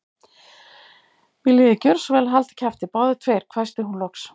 Viljiði gjöra svo vel að halda kjafti, báðir tveir hvæsti hún loks.